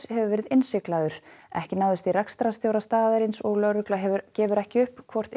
hefur verið innsiglaður ekki náðist í rekstrarstjóra staðarins og lögregla gefur ekki upp hvort